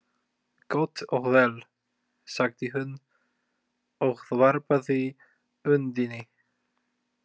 Gott og vel, sagði hún, og varpaði öndinni.